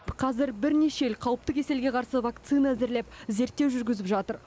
қазір бірнеше ел қауіпті кеселге қарсы вакцина әзірлеп зерттеу жүргізіп жатыр